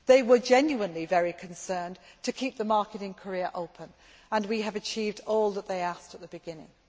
They were genuinely very concerned to keep the market in Korea open, and we have achieved all that they asked at the beginning.